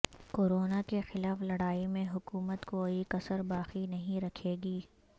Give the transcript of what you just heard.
corona کیخلاف لڑائی میں حکومت کوئی کسر باقی نہیں رکھے گی